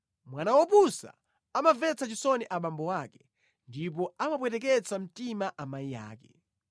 Mwana wopusa amamvetsa chisoni abambo ake ndipo amapweteketsa mtima amayi ake.